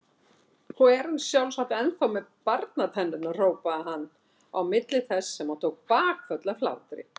Og er sjálfsagt ennþá með barnatennurnar hrópaði hann á milli þess sem hann tók bakföll af hlátri.